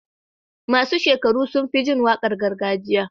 masu shekaru sunfi jin waƙar gargajiya